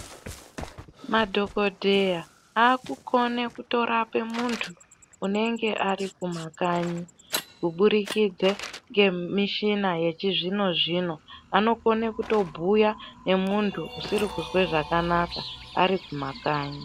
Madhokodheya akukone kutorape muntu unenge ari kumakanyi kuburikidza ngemishina yechizvino zvino anokone kutobhuya ngemuntu usiri kuzwe zvakanaka ari kumakanyi.